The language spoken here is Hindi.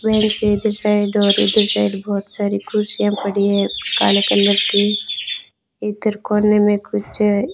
पेड़ के इधर और उधर साइड बहुत सारी कुर्सिया पड़ी है काले कलर की इधर कोने में कुछ --